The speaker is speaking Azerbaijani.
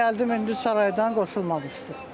Mən gəldim indi saraydan qoşulmamışdı.